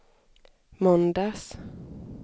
måndags